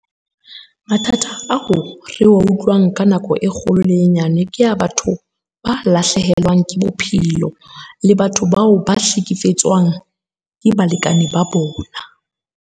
Mathata ao re a utlwang ka nako e kgolo le e nyane ke ya batho ba lahlehelwang ke bophelo, le batho bao ba hlekefetswang ke balekane ba bona.